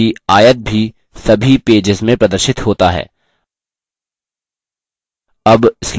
ध्यान दें कि आयत भी सभी पेजेस में प्रदर्शित होता है